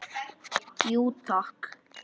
Jú, takk.